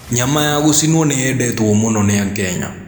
Nyama ya gũcinũo nĩyendetũo mũno nĩ akenya.